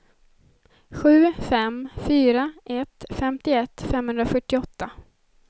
sju fem fyra ett femtioett femhundrafyrtioåtta